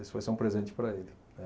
Isso vai ser um presente para ele, né.